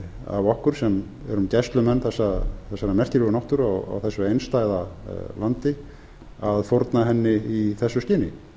af okkur sem erum gæslumenn þessarar merkilegu náttúru á þessu einstæða landi að fórna henni í þessu skyni